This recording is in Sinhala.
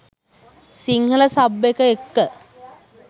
සිංහල සබ් එක එක්ක